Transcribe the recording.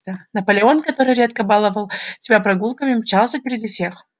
наполеон который редко баловал себя прогулками мчался впереди всех